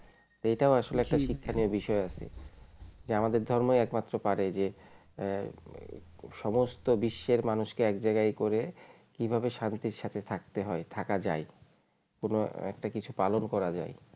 এইটাও আসলে জি একটা শিক্ষণীয় বিষয় আছে যে আমাদের ধর্মই একমাত্র পারে যে হম সমস্ত বিশ্বের মানুষকে এক জায়গায় করে কিভাবে শান্তির সাথে থাকতে হয় থাকা যায় কোন একটা কিছু পালন করা যায়